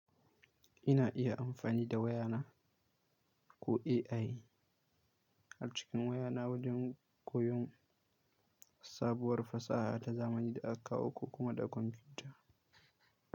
Ina iya amfani da wayana ko AI a cikin wayana wajen koyon sabuwar fasaha ta zamani da aka kawo kuma da kwamfuta.